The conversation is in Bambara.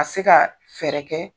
A se kaa fɛɛrɛ kɛ